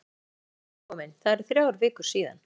Nei, ekki alveg nýkominn, það eru þrjár vikur síðan.